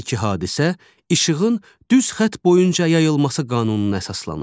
Hər iki hadisə işığın düz xətt boyunca yayılması qanununa əsaslanır.